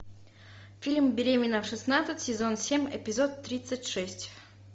фильм беременна в шестнадцать сезон семь эпизод тридцать шесть